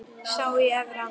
Sá í Efra.